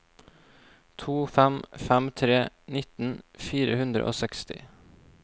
to fem fem tre nitten fire hundre og seksti